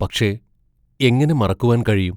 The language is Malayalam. പക്ഷേ, എങ്ങനെ മറക്കുവാൻ കഴിയും?